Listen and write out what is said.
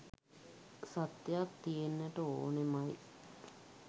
සත්‍යයක් තියෙන්නට ඕනෙමයි.